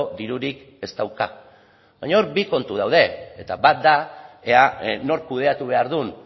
dirurik ez dauka baina hor bi kontu daude eta bat da ea nork kudeatu behar duen